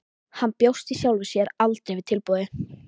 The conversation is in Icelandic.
Hann bjóst í sjálfu sér aldrei við tilboði.